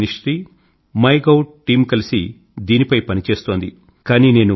హ్రద్ ministry MyGov team కలిసి దీనిపై పని చేస్తోంది